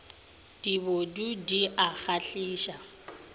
di bodule di a kgahliša